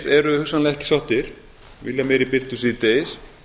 eru hugsanlega ekki sáttir vilja meiri birtu síðdegis